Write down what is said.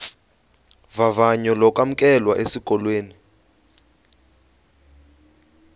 vavanyo lokwamkelwa esikolweni